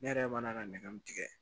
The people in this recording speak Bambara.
Ne yɛrɛ mana ka nɛgɛ min tigɛ